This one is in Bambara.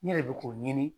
Ne yɛrɛ bɛ k'o ɲini